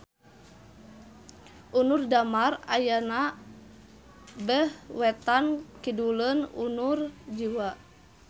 Unur Damar ayana beh wetan-kiduleun Unur Jiwa